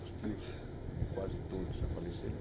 Os tios, também quase todos já faleceram.